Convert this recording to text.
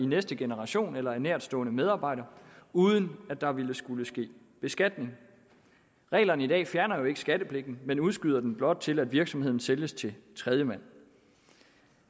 næste generation eller af nærtstående medarbejdere uden at der vil skulle ske beskatning reglerne i dag fjerner jo ikke skattepligten men udskyder den blot til virksomheden sælges til tredjemand